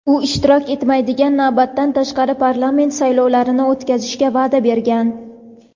u ishtirok etmaydigan navbatdan tashqari parlament saylovlarini o‘tkazishga va’da bergan.